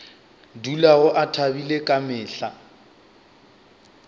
dulago a thabile ka mehla